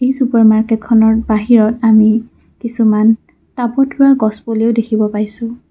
এই চুপাৰ মাৰ্কেটখনৰ বাহিৰত আমি কিছুমান টাবত ৰোৱা গছপুলি ও দেখিবলৈ পাইছোঁ।